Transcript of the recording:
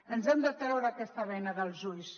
ens hem de treure aquesta bena dels ulls